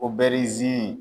Obɛrizini.